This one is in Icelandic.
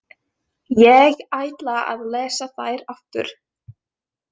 Ég ætla að lesa þær aftur.